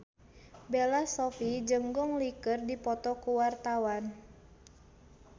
Bella Shofie jeung Gong Li keur dipoto ku wartawan